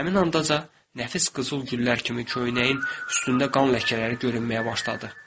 Həmin andaca nəfis qızıl güllər kimi köynəyin üstündə qan ləkələri görünməyə başladı.